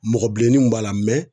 Mɔgɔ bilennin b'a la